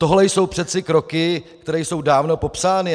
Toto jsou přeci kroky, které jsou dávno popsány.